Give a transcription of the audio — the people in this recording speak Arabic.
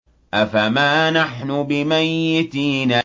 أَفَمَا نَحْنُ بِمَيِّتِينَ